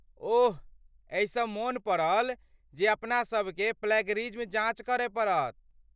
ओह! एहिसँ मोन पड़ल जे अपनासभकेँ प्लैगियरिज्म जाँच करय पड़त।